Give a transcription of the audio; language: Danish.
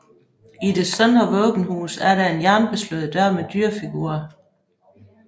I det søndre våbenhus er der en jernbeslået dør med dyrefigurer